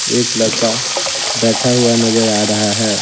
एक लड़का बैठा हुआ नजर आ रहा है।